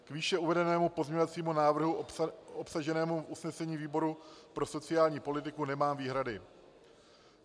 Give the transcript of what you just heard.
K výše uvedenému pozměňovacímu návrhu obsaženému v usnesení výboru pro sociální politiku nemám výhradu.